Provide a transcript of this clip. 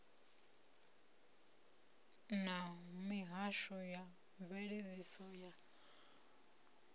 na mihasho ya mveledziso ya